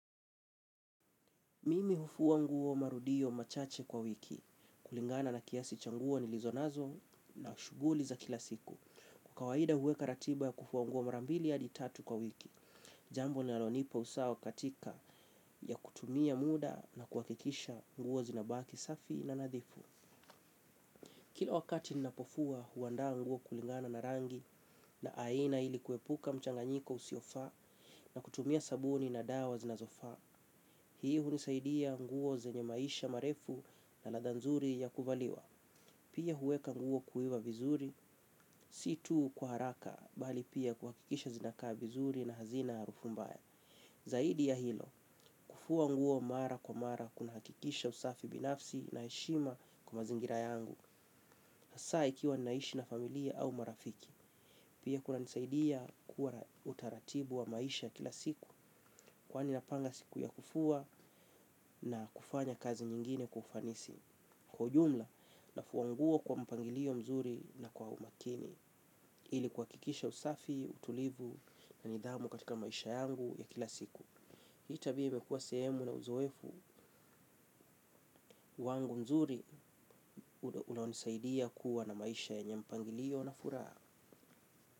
Mimi hufua nguo marudio machache kwa wiki kulingana na kiasi cha nguo nilizonazo na shughuli za kila siku. Kwa kawaida huweka ratiba ya kufua nguo marambili hadi tatu kwa wiki jambo linalonipa usawa katika ya kutumia muda na kuhakikisha nguo zinabaki safi na nadhifu. Kila wakati ninapofua huandaa nguo kulingana na rangi na aina ili kuepuka mchanganyiko usiofaa na kutumia sabuni na dawa zinazofa. Hii hunisaidia nguo zenye maisha marefu na ladha nzuri ya kuvaliwa. Pia huweka nguo kuiva vizuri si tu kwa haraka bali pia kuhakikisha zinakaa vizuri na hazina harufu mbaya. Zaidi ya hilo kufua nguo mara kwa mara kuna hakikisha usafi binafsi na heshima kwa mazingira yangu. Hasa ikiwa naishi na familia au marafiki. Pia kuna nisaidia kuwa na utaratibu wa maisha kila siku. Kwani napanga siku ya kufua na kufanya kazi nyingine kwa ufanisi. Kwa ujumla nafua nguo kwa mpangilio mzuri na kwa umakini ili kuhakikisha usafi utulivu na nidhamu katika maisha yangu ya kila siku. Hii tabia imekua sehemu na uzoefu, wangu mzuri unaonisaidia kuwa na maisha yenye mpangilio na furaha.